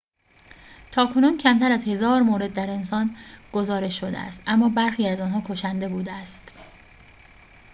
تاکنون کمتر از هزار مورد در انسان گزارش شده است اما برخی از آنها کشنده بوده است